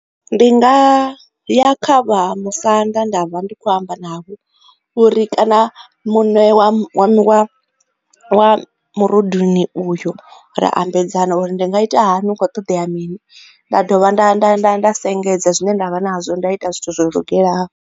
Ndi nga ya kha vha musanda nda vha ndi kho u amba navho uri kana mune wa wa wa murunduni uyo, ra ambedzana uri ndi nga ita hani, hu kho u ṱoḓea mini, nda dovha nda nda nda nda sengedza zwine nda vha nazwo nda ita zwithu zwo lugelaho.